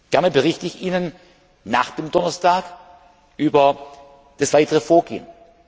Gerne berichte ich Ihnen nach Donnerstag über das weitere Vorgehen.